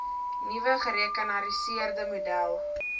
nuwe gerekenariseerde model